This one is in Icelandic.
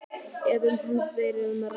ef um hann hefur verið að ræða.